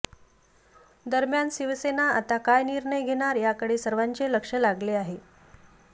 दरम्यान शिवसेना आता काय निर्णय घेणार याकडे सर्वांचे लक्ष लागले आहे